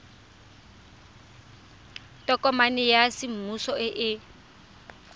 tokomane ya semmuso e e